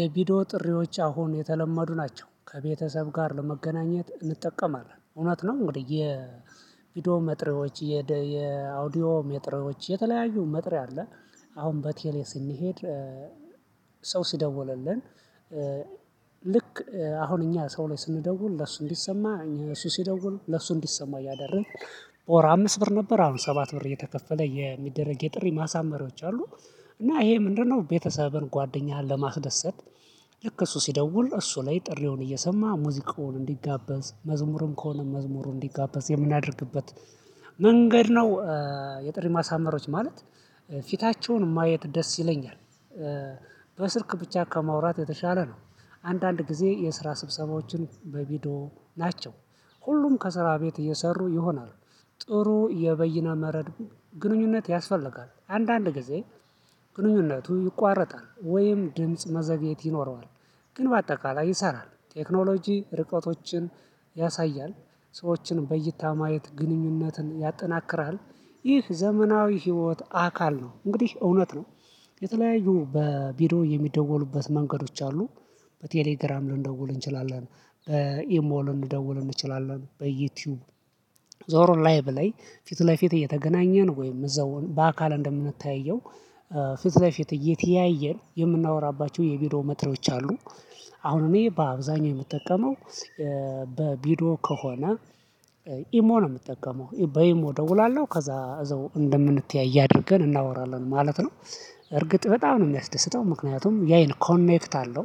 የቪዲዮ ጥሪዎች አሁን የተለመዱ ናቸው ከቤተሰብ ጋር ለመገናኘት እንጠቀማለን እውነት ነው። እንግዲህ የቪዲዮ መጥሪዎች የደ የአውዲዮ መጥሪዎች የተለያዩ መጥሪያ አለ። አሁን በቴሌ ስንሄድ። ሰው ሲደውልልን ልክ አሁን እኛ ሰው ላይ ስንደውል ለሱ እንዲሰማ እኛ እሱ ሲደውል ለሱ እንዲሰማ እያደረግን። በወር አምስት ብር ነበር አሁን ሰባት ብር የተከፈለ የሚደረግ የጥሪ ማሳመሪያዎች አሉ። እና ይሄ ምንድነው? ቤተሰብን ጓደኛህን ለማስደሰት ልክ እሱ ሲደውል እሱ ላይ ጥሪውን እየሰማ ሙዚቃውን እንዲጋበዝ መዝሙርም ከሆነ መዝሙሩ እንዲጋበዝ የምናደርግበት መንገድ ነው። የጥሪ ማሳመሮች ማለት ፊታቸውን ማየት ደስ ይለኛል። በስልክ ብቻ ከማውራት የተሻለ ነው። አንዳንድ ጊዜ የስራ ስብሰባዎችን በቪዲዮ ናቸው። ሁሉም ከስራ ቤት እየሰሩ ይሆናሉ። ጥሩ የበይነ መረብ ግንኙነት ያስፈልጋል አንዳንድ ጊዜ ግንኙነቱ ይቋረጣል ወይም ድምጽ መዘግየት ይኖረዋል። ግን በአጠቃላይ ይሰራል። ቴክኖሎጂ ርቆቶችን ያሳያል ሰዎችን በእይታ ማየት ግንኙነትን ያጠናክራል። ይህ ዘመናዊ ህይወት አካል ነው እንግዲህ እውነት ነው። የተለያዩ በቢዶ የሚደወሉበት መንገዶች አሉ። በቴሌግራም ልንደውል እንችላለን በኢሞ ልንደውል እንችላለን በዩቲዩብ ዞሮ ላይቭ ላይ ፊት ለፊት እየተገናኘን ወይም እዛው በአካል እንደምንተያየው ፊት ለፊት እየተያየን የምናወራባቸው የቢዶ መጥሪያዎች አሉ። አሁን እኔ በአብዛኛው የምጠቀመው በቢዶ ከሆነ ኢሞ ነው የምጠቀመው በኢሞ እደውላለሁ ከዛ እዛው እንደምንተያይ አድርገን እናወራለን ማለት ነው። እርግጥ በጣም ነው የሚያስደስተኝ ምክንያቱም ያይን ኮኔክት አለው።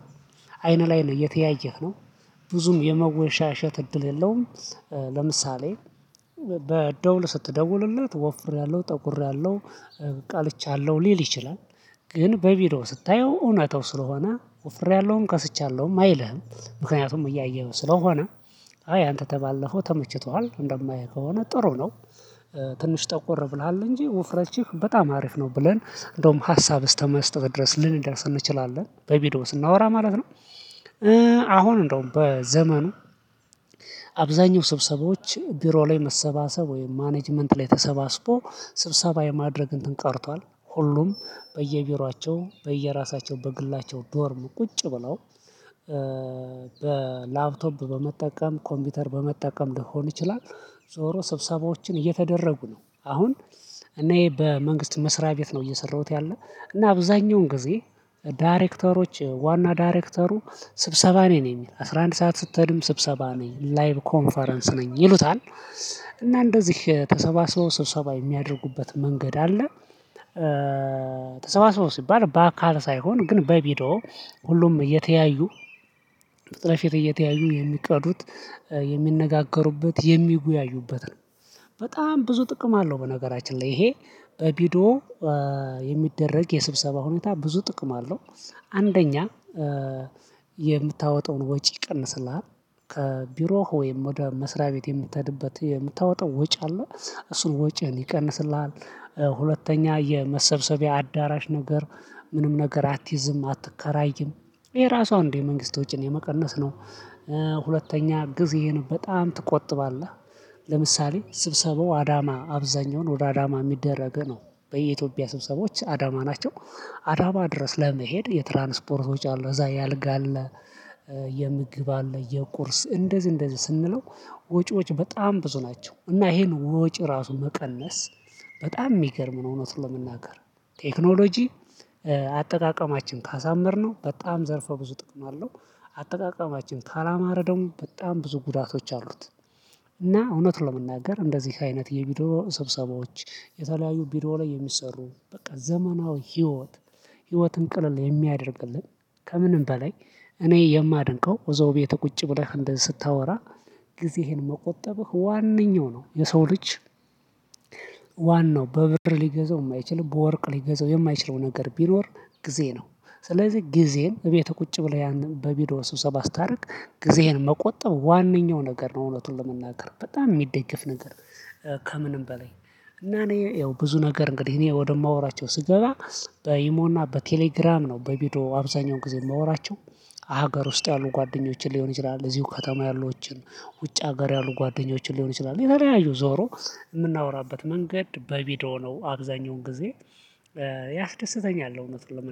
አይነ ላይ ነው እየተያየህ ነው። ብዙም የመወሻሸት እድል የለውም። ለምሳሌ በደውል ስትደውሉለት ወፍሬያለሁ ጠቁሬያለሁ ቀልቻለሁ ሊል ይችላል። ግን በቢዲዮ ስታየው እውነታው ስለሆነ ኮፍሬያለሁም ከስቻለሁም አይልህም ምክንያቱም እያየሁ ስለሆነ። አይ አንተ ተባለፈው ተመችቷል እንደማየው ከሆነ ጥሩ ነው። ትንሽ ጠቆር ብለሃል እንጂ ውፍረችህ በጣም አሪፍ ነው ብለን እንደውም ሀሳብ እስተመስጠት ድረስ ልንደርስ እንችላለን በቪዲዮ ስናወራ ማለት ነው። አሁን እንደውም በዘመኑ አብዛኛው ስብሰባዎች ቢሮ ላይ መሰባሰብ ወይም ማኔጅመንት ላይ ተሰባስቦ ስብሰባ የማድረግ እንትን ቀርቷል። ሁሉም በየቢሮአቸው በየራሳቸው በግላቸው ዶርም ቁጭ ብለው በላፕቶፕ በመጠቀም ኮምፒውተር በመጠቀም ሊሆን ይችላል። ዞሮ ስብሰባዎችን እየተደረጉ ነው አሁን። እኔ በመንግስት መስሪያ ቤት ነው እየሰራሁት ያለ እና አብዛኛውን ጊዜ ዳይሬክተሮች ዋና ዳይሬክተሩ ስብሰባ ነኝ ነው የሚል አስራ አንድ ሰዓት ስትሄድም ስብሰባ ነኝ ላይቭ ኮንፈረንስ ነኝ ይሉታል። እና እንደዚህ ተሰባስበው ስብሰባ የሚያደርጉበት መንገድ አለ። ተሰባስበው ሲባል በአካል ሳይሆን ግን በቢዲዮ ሁሉም እየተያዩ ፊት ለፊት እየተያዩ የሚቀዱት የሚነጋገሩበት የሚጉያዩበት ነው። በጣም ብዙ ጥቅም አለው። በነገራችን ላይ ይሄ በቢዶ የሚደረግ የስብሰባ ሁኔታ ብዙ ጥቅም አለው። አንደኛ የምታወጣውን ወጪ ይቀንስልሃል። ከቢሮህ ወይም ወደ መስሪያ ቤት የምትሄድበት የምታወጣው ወጪ አለ እሱን ወጪ ይቀንስልሃል። ሁለተኛ የመሰብሰቢያ አዳራሽ ነገር ምንም ነገር አትይዝም አትከራይም። ይሄ ራሷ እንዴ መንግስት ወጪን የመቀነስ ነው። ሁለተኛ ጊዜህን በጣም ትቆጥባለህ። ለምሳሌ ስብሰባው አዳማ አብዛኛውን ወደ አዳማ የሚደረግ ነው። በኢትዮጵያ ስብሰቦች አዳማ ናቸው። አዳማ ድረስ ለመሄድ የትራንስፖርት ወጭ አለ እዛ የአልጋ አለ። የምግብ አለ የቁርስ እንደዚህ እንደዚህ ስንለው ወጪዎች በጣም ብዙ ናቸው። እና ይሄን ወጪ ራሱ መቀነስ በጣም የሚገርም ነው። እውነት ለመናገር ቴክኖሎጂ አጠቃቀማችን ካሳመርነው በጣም ዘርፈ ብዙ ጥቅም አለው። አጠቃቀማችን ካላማረ ደሞ በጣም ብዙ ጉዳቶች አሉት። እና እውነት ለመናገር እንደዚህ አይነት የቪዲዮ ስብሰባዎች የተለያዩ ቪዲዮ ላይ የሚሰሩ በቃ ዘመናዊ ህይወት። ህይወትን ቅልል የሚያደርግልን ከምንም በላይ እኔ የማደንቀው እዛው ቤት ቁጭ ብለህ እንደዚህ ስታወራ። ጊዜህን መቆጠብህ ዋነኛው ነው የሰው ልጅ ዋናው በብር ሊገዛው የማይችል በወርቅ ሊገዛው የማይችለው ነገር ቢኖር ጊዜ ነው። ስለዚህ ጊዜን እቤትህ ቁጭ ብለህ ያን በቢዶ ስብሰባ ስታደርግ ጊዜህን መቆጠብ ዋናው ነገር ነው። እውነቱን ለመናገር በጣም የሚደገፍ ነገር። ከምንም በላይ እና እኔ ያው ብዙ ነገር እንግዲህ እኔ ወደማወራቸው ስገባ በይሞና በቴሌግራም ነው በቪዲዮ አብዛኛውን ጊዜ ማወራቸው። ሀገር ውስጥ ያሉ ጓደኞችን ሊሆን ይችላል እዚሁ ከተማ ያሉዎችን ውጭ ሀገር ያሉ ጓደኞችን ሊሆን ይችላል የተለያዩ ዞሮ የምናወራበት መንገድ በቪዲዮ ነው አብዛኛውን ጊዜ። ያስደስተኛል እውነት ለመን